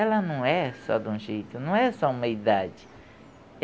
Ela não é só de um jeito, não é só uma idade.